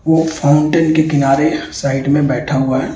वो फाउंटेन के किनारे साइड में बैठा हुआ है।